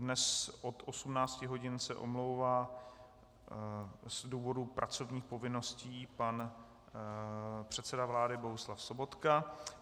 Dnes od 18 hodin se omlouvá z důvodu pracovních povinností pan předseda vlády Bohuslav Sobotka.